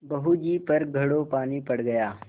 बहू जी पर घड़ों पानी पड़ गया